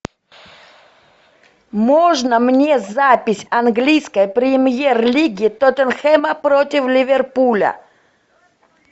можно мне запись английской премьер лиги тоттенхэма против ливерпуля